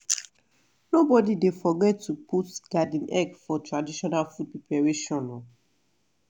nobody dey forget to put garden egg for traditional food preparation.